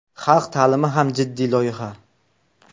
Xalq ta’limi ham jiddiy loyiha.